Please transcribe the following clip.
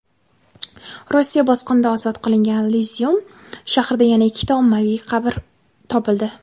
Rossiya bosqinidan ozod qilingan Izyum shahrida yana ikkita ommaviy qabr topildi.